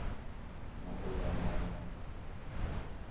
mauvha mawe na mawe o